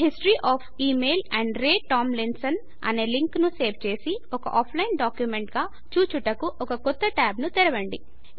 history of email amp Ray Tomlinson అనే లింకును save చేసి ఒక ఆఫ్లైన్ డాక్యుమెంట్ గా చూచుటకు ఒక కొత్త ట్యాబ్ ను తెరవండి